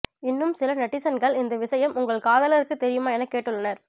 இன்னும் சில நெட்டிசன்கள் இந்த விஷயம் உங்கள் காதலருக்கு தெரியுமா என கேட்டுள்ளனர்